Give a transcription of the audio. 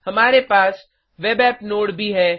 हमारे पास web app node भी है